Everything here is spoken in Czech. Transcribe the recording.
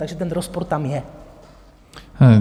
Takže ten rozpor tam je.